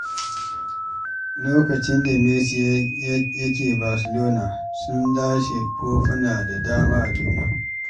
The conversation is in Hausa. Lokacin da Messi yake Barcelona, sun lashe kofuna da dama a duniya.